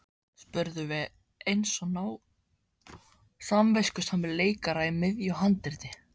spurðum við eins og samviskusamir leikarar í miðju handriti.